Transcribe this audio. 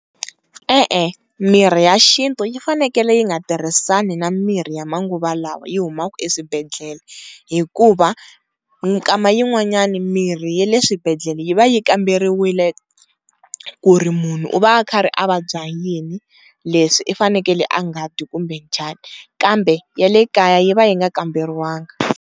E-e mirhi ya xintu yi fanekele yi nga tirhisani na mirhi ya manguva lawa yi humaku eswibedhlele, hikuva mikama yin'wanyani mirhi ya le swibedhlele yi va yi kamberiwile ku ri munhu u va a karhi a vabya yini leswi u fanekele a nga dyi kumbe njhani, kambe ya le kaya yi va yi nga kamberiwangi.